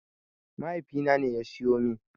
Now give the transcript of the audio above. Mahaifina ne ya siyo min.